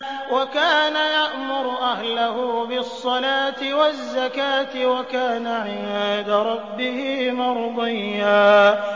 وَكَانَ يَأْمُرُ أَهْلَهُ بِالصَّلَاةِ وَالزَّكَاةِ وَكَانَ عِندَ رَبِّهِ مَرْضِيًّا